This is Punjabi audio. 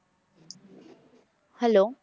Hello